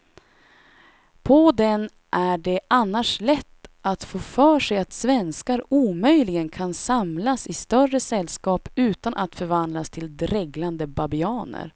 På den är det annars lätt att få för sig att svenskar omöjligen kan samlas i större sällskap utan att förvandlas till dreglande babianer.